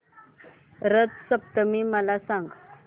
रथ सप्तमी मला सांग